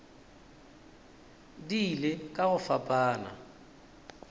di ile ka go fapana